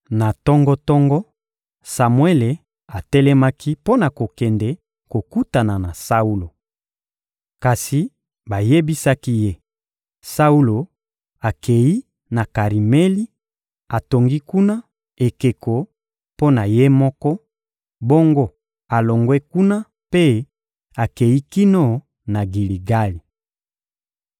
Na tongo-tongo, Samuele atelemaki mpo na kokende kokutana na Saulo. Kasi bayebisaki ye: «Saulo akei na Karimeli, atongi kuna ekeko mpo na ye moko, bongo alongwe kuna mpe akei kino na Giligali.»